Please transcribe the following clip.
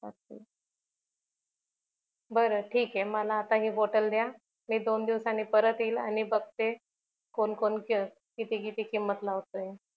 बर ठीक आहे मला आता हि बॉटल दया मी दोन दिवसांनी परत येईल आणि बघते कोण कोण किती किती किंमत लावताय